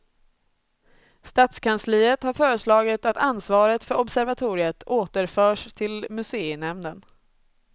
Stadskansliet har föreslagit att ansvaret för observatoriet återförs till museinämnden.